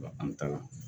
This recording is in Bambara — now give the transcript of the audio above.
An ta la